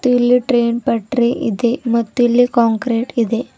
ಇಲ್ಲಿ ಟ್ರೈನ್ ಪಟ್ರಿ ಇದೆ ಮತ್ತಿಲ್ಲಿ ಕಾಂಕ್ರೆಟ ಇದೆ.